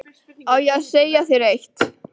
Á ég að segja þér eitt?